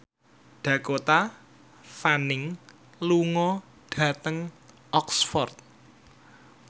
Dakota Fanning lunga dhateng Oxford